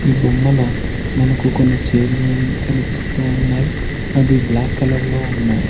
బొమ్మలు మనకు కొన్ని చేర్లు వున్ కనిపిస్తూ ఉన్నాయ్ అవి బ్లాక్ కలర్ లో ఉన్నాయ్.